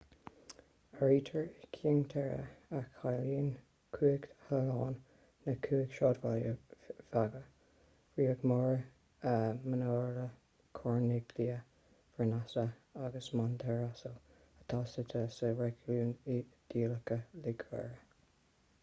áirítear i cinque terre a chiallaíonn cúig thalún na cúig sráidbhaile bheaga riomaggiore manarola corniglia vernazza agus monterosso atá suite sa réigiún iodálach liguria